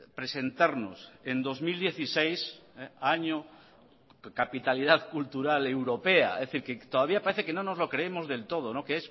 presentarnos en dos mil dieciséis año capitalidad cultural europea es decir que todavía parece que no nos lo creemos del todo que